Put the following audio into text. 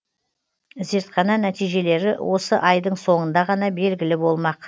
зертхана нәтижелері осы айдың соңында ғана белгілі болмақ